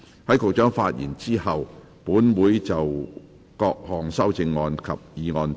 在局長發言後，本會會就各項修正案及議案進行表決。